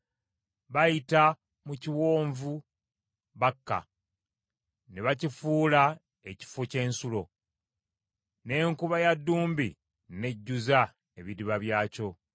Bayita mu kiwonvu Baka, ne bakifuula ekifo ky’ensulo; n’enkuba ya ddumbi n’ejjuza ebidiba byakyo.